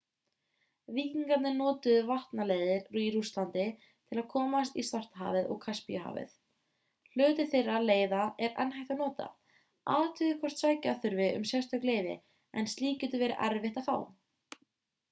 víkinigarnir notuðu vatnaleiðir í rússlandi til að komast í svartahafið og kaspíahafið hluti þeirra leiða er enn hægt að nota athugið hvort sækja þurfi um sérstök leyfi en slíkt getur verið erfitt að fá